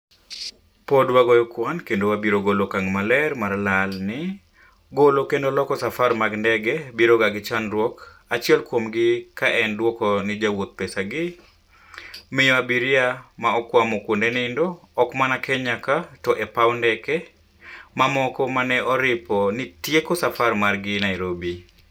pod wagoyo kuan kendo wabiro golo okang' maler mar lal ni "Golo kendo loko safar mag ndege biro ga gi chandruok achiel kuom gi ka en dwoko ni jowouth pesa gi, miyo abiria ma okwamo kuonde nindo, ok mana Kenya ka to e paw ndeke mamoko ma ne oripo ni tieko safar margi Nairobi.